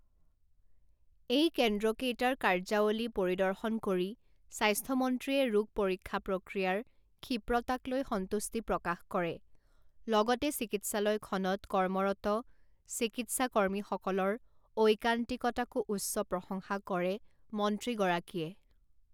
এই কেন্দ্ৰকেইেটাৰ কাৰ্যাৱলী পৰিদৰ্শন কৰি স্বাস্থ্যমন্ত্ৰীয়ে ৰোগ পৰীক্ষা প্ৰক্ৰিয়াৰ ক্ষীপ্ৰতাক লৈ সন্তুষ্টি প্ৰকাশ কৰে লগতে চিকিৎসালয়খনত কৰ্মৰত চিকিৎসাকৰ্মীসকলৰ ঐকান্তিকতাকো উচ্চ প্ৰসংশা কৰে মন্ত্ৰীগৰাকীয়ে।